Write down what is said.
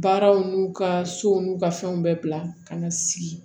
Baaraw n'u ka sow n'u ka fɛnw bɛɛ bila ka na sigi